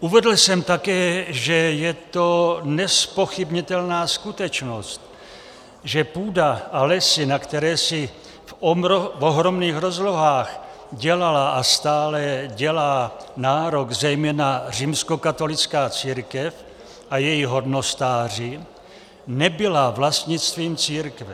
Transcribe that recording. Uvedl jsem také, že je to nezpochybnitelná skutečnost, že půda a lesy, na které si v ohromných rozlohách dělala a stále dělá nárok zejména římskokatolická církev a její hodnostáři, nebyla vlastnictvím církve.